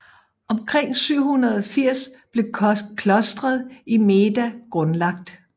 Omkring 780 blev klostret i Meda grundlagt